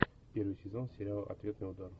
первый сезон сериала ответный удар